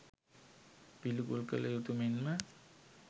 පිළිකුල් කළ යුතු මෙන්ම